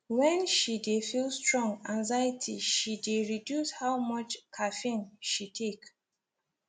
when she dey feel strong anxiety she dey reduce how much caffeine she take